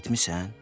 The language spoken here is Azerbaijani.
Eşitmisən?